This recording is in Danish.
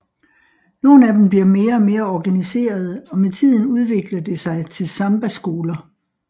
Nogle af dem bliver mere og mere organiserede og med tiden udvikler det sig til sambaskoler